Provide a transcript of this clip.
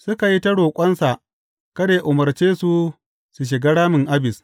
Suka yi ta roƙonsa kada yă umarce su su shiga ramin Abis.